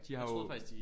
De har jo